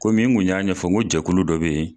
Komi n kun y'a ɲɛfɔ n ko jɛkulu dɔ bɛ yen.